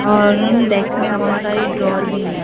और उन डेस्क में बहुत सारी ड्रावर भी हैं।